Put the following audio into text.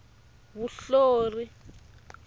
vunhlori